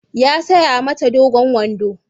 Ya saya mata dogon wando.